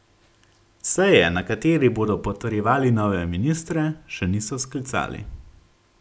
Seje, na kateri bodo potrjevali nove ministre, še niso sklicali.